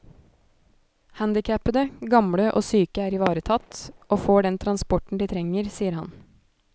Handicapede, gamle og syke er ivaretatt, og får den transporten de trenger, sier han.